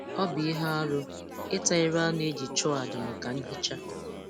Ọ bụ ihe arụ ịta ire anụ e ji chụọ àjà maka nhicha